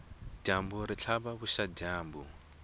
dyambu ri tlhava vuxadyambu